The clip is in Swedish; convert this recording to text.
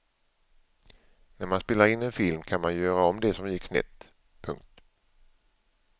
När man spelar in en film kan man ju göra om det som gick snett. punkt